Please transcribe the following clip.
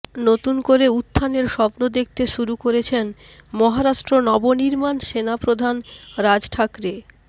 নতুন করে উত্থানের স্বপ্ন দেখতে শুরু করেছেন মহারাষ্ট্র নবনির্মাণ সেনা প্রধান রাজ ঠাকরে